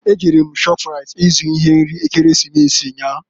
E jere m na shọpraịt i zụ ihe nri Ekeresimesi nnyaa